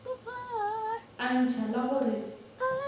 a ntšha la go re